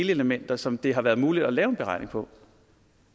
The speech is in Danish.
delelementer som det har været muligt at lave en beregning på